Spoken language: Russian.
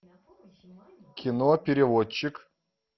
кино переводчик